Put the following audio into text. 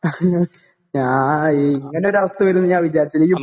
ആ ഇയ് ഇങ്ങനെയൊരു അവസ്ഥ വരും എന്ന് ഞാൻ വിചാരിച്ചില്ല